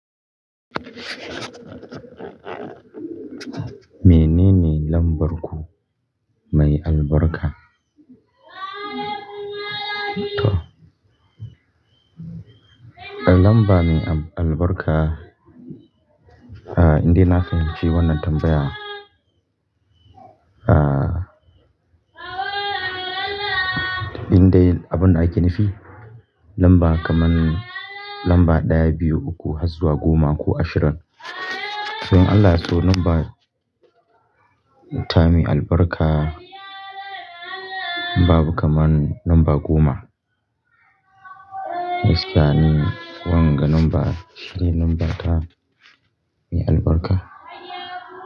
Menene lambar ku mai albarka? To, lamba mai albarka, ah, indai na fahimci wannan tambaya. Ah, indai abin da ake nufi lamba kaman lamba ɗaya, biyu, uku, har zuwa goma ko ashirin. So in Allah ya so lamba ta mai albarka babu kaman lamba goma. Gaskiya ni wanga number, shine lambar ta mai albarka.